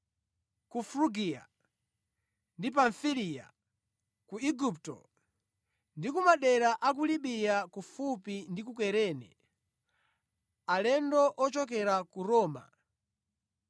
ku Frugiya ndi Pamfiliya, ku Igupto ndi ku madera a ku Libiya kufupi ndi ku Kurene; alendo ochokera ku Roma,